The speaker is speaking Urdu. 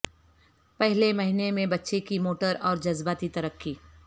پہلے مہینے میں بچے کی موٹر اور جذباتی ترقی